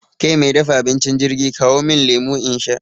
Ke mai dafa abincin jirgi, kawo min lemu in sha!